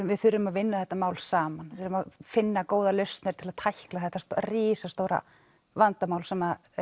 við þurfum að vinna þetta mál saman finna góðar lausnir til þess að tækla þetta risastóra vandamál sem